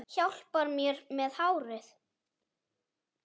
Hjálpar mér með hárið!